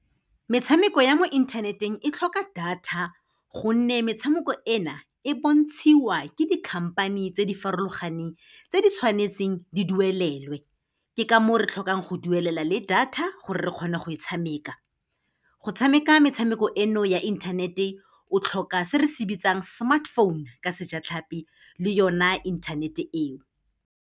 Metshameko ya mo internet-eng, e tlhoka data, gonne metshameko e na, e bontshiwa ke di-company tse di farologaneng, tse di tshwanetseng di duelelwe. Ke ka moo re tlhokang go duelela le data, gore re kgone go e tshameka. Go tshameka metshameko eno ya internet-e, o tlhoka se re se bitsang smartphone ka sejatlhapi le yona internet-e eo.